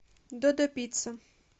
додо пицца